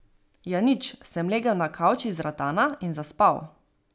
Ja nič, sem legel na kavč iz ratana in zaspal.